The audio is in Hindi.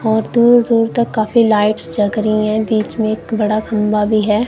और दूर दूर तक काफी लाइट्स जग रही है बीच में एक बड़ा खंबा भी है।